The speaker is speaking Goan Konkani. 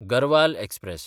गरवाल एक्सप्रॅस